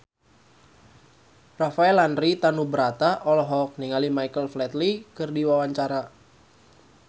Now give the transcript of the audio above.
Rafael Landry Tanubrata olohok ningali Michael Flatley keur diwawancara